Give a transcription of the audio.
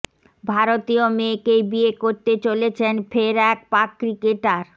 ভারতীয় মেয়েকেই বিয়ে করতে চলেছেন ফের এক পাক ক্রিকেটার